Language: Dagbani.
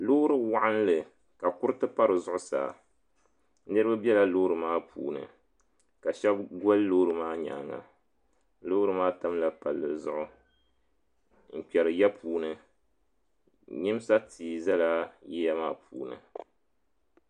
Loori waɣinli ka kuriti pa di zuɣusaa niriba bela loori maa puuni ka shɛba goli loori maa nyaanga loori maa tamla palli zuɣu n kpɛri ya puuni nyimsa tia zala yiya maa puuni.